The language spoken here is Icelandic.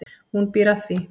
Hún býr að því.